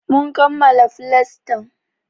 Mun kammala flastan.